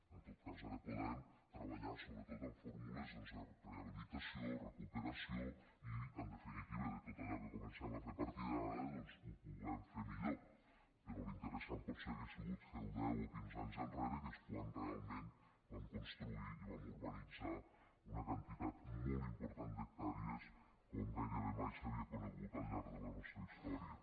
en tot cas ara podem treballar sobretot en fórmules de rehabilitació recuperació i en definitiva que tot allò que comencem a fer a partir d’ara doncs ho puguem fer millor però l’interessant potser hauria sigut fer ho deu o quinze anys enrere que és quan realment vam construir i vam urbanitzar una quantitat molt important d’hectàrees com gairebé mai s’havia conegut al llarg de la nostra història